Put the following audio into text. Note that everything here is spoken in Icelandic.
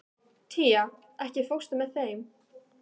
Tía, ekki fórstu með þeim?